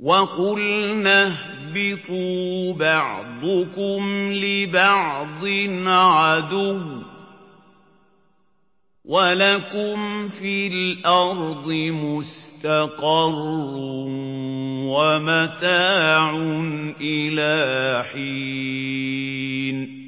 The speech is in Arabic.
وَقُلْنَا اهْبِطُوا بَعْضُكُمْ لِبَعْضٍ عَدُوٌّ ۖ وَلَكُمْ فِي الْأَرْضِ مُسْتَقَرٌّ وَمَتَاعٌ إِلَىٰ حِينٍ